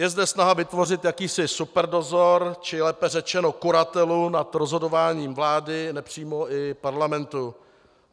Je zde snaha vytvořit jakýsi superdozor, či lépe řečeno kuratelu nad rozhodováním vlády, nepřímo i parlamentu.